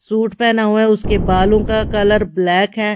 Suit पहना हुआ है उसके बालों का कलर ब्लैक है।